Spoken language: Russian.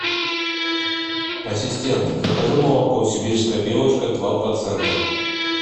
ассистент закажи молоко сибирская белочка два процента